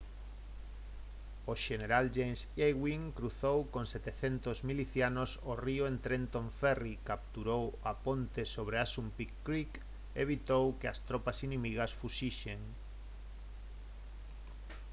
o xeneral james ewing cruzou con 700 milicianos o río en trenton ferry capturou a ponte sobre assunpink creek e evitou que as tropas inimigas fuxisen